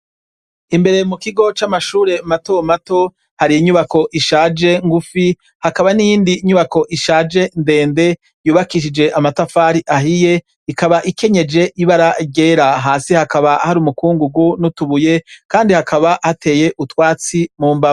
Imbere mukigo c'amashure matomato hari inyubako ishaje ngufi hakaba niyindi nyubako ishaje ndende yubakishije amatafari ahiye, ikaba ikenyeje ibara ryera, hasi hakaba hari umukungungu nutubuye kandi hakaba hateye utsatsi mumbavu.